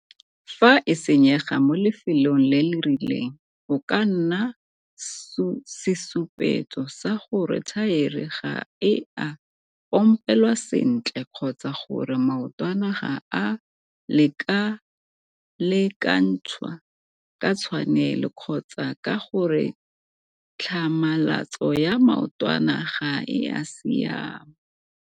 Fa e senyega mo lefelong le le rileng, go ka nna sesupetso sa gore thaere ga e a pompelwa sentle - kgotsa gore maotwana ga a a lekalekanthswa ka tshwanelo kgotsa ka gore tlhamalatso ya maotwana ga e a siama.